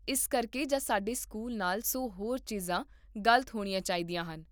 ਇਸ ਕਰਕੇ ਜਾਂ ਸਾਡੇ ਸਕੂਲ ਨਾਲ ਸੌ ਹੋਰ ਚੀਜ਼ਾਂ ਗਲਤ ਹੋਣੀਆਂ ਚਾਹੀਦੀਆਂ ਹਨ